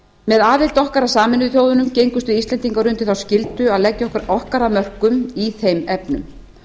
með aðild okkar að sameinuðu þjóðunum gengumst við íslendingar undir þá skyldu að leggja okkar af mörkum í þeim efnum